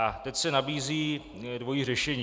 A teď se nabízí dvojí řešení.